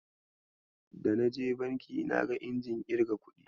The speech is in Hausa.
Da naje banki naga injin irga kuɗi.